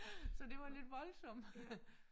Så det var lidt voldsom